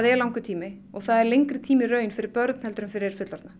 er langur tími það er lengri tími í raun fyrir börn en fullorðna